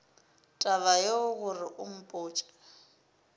taba yeo gore o mpotše